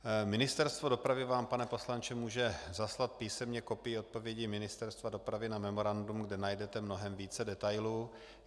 Ministerstvo dopravy vám, pane poslanče, může zaslat písemně kopii odpovědi Ministerstva dopravy na memorandum, kde najdete mnohem více detailů.